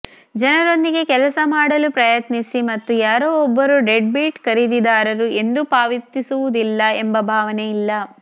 ಜನರೊಂದಿಗೆ ಕೆಲಸ ಮಾಡಲು ಪ್ರಯತ್ನಿಸಿ ಮತ್ತು ಯಾರೋ ಒಬ್ಬರು ಡೆಡ್ಬೀಟ್ ಖರೀದಿದಾರರು ಎಂದು ಪಾವತಿಸುವುದಿಲ್ಲ ಎಂಬ ಭಾವನೆಯಿಲ್ಲ